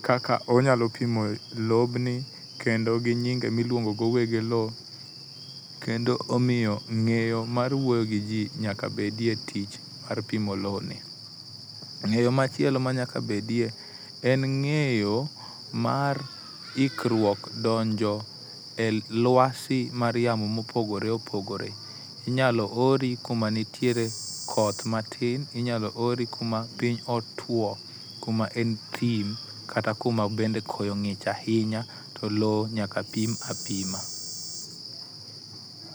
kaka onyalo pimo lobni kendo ginyinge miluongo go weg lowo kendo omiyo ng'eyo mar wuoyo giji nyaka bedie e tich mar pimo lowoni. Ng'eyo machielo ma nyaka bedie en ng'eyo ma ikruok donjo e lwasi mar yamo mopogore opogore inyalo ori kumanitiere koth matin, inyalo ori kuma piny otuo kuma en thim kata kuma bende koyo ng'ich ahinya to lowo nyaka pim apima